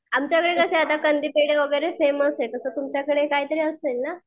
आमच्याकडे कसे आता कंदी पेढे वगैरे फेमस आहे तसे तुमच्याकडे काहीतरी असेल ना?